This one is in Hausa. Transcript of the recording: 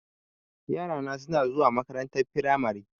Yara na suna zuwa makarantar firamari.